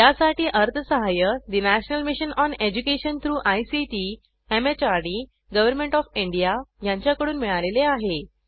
यासाठी अर्थसहाय्य national mission on education through ICT MHRD government of India यांच्याकडून मिळालेले आहे